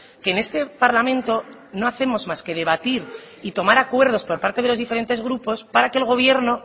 que en este parlamento no hacemos más que debatir y tomar acuerdos por parte de los diferentes grupos para que el gobierno